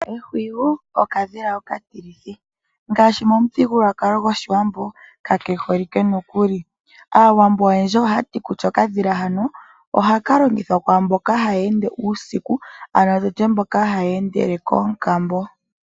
Ehwiyu okadhila okatilithi. Momuthigululwakalo gOshiwambo kake holike nokuli. Aawambo oyendji ohaya ti kutya okadhila hano ohaka longithwa kwaa mboka haya ende uusiku, ano tu tye mboka haya endele koonkambo.